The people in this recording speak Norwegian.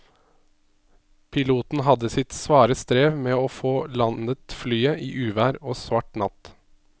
Piloten hadde sitt svare strev med å få landet flyet i uvær og svart natt.